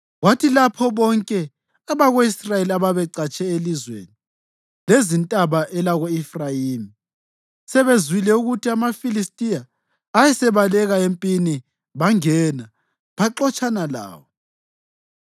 Kwathi lapho bonke abako-Israyeli ababecatshe elizweni lezintaba elako-Efrayimi sebezwile ukuthi amaFilistiya ayesebaleka empini bangena, baxotshana lawo.